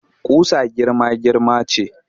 Ƙusa girma-girma ce